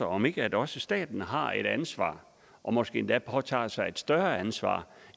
om ikke også staten har et ansvar og måske endda skulle påtage sig et større ansvar